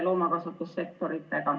... loomakasvatussektoritega.